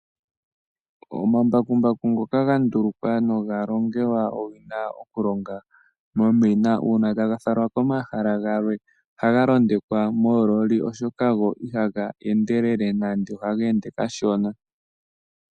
Ombakumbaku ngoka ga ndulukwa noga longelwa owina momina uuna taga falwa komahala galwe ohaga londekwa moololi, oshoka go ihaga endelele nande ohaga ende kashona.